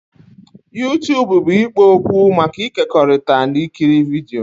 YouTubụ bụ ikpo okwu maka ịkekọrịta na ikiri vidio.